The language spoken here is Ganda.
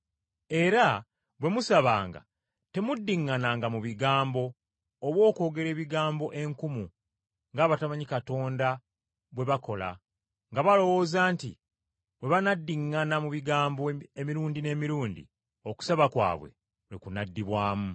Era bwe musabanga temuddiŋŋananga mu bigambo oba okwogera ebigambo enkumu ng’abatamanyi Katonda bwe bakola nga balowooza nti Bwe banaddiŋŋana mu bigambo emirundi n’emirundi okusaba kwabwe lwe kunaddibwamu.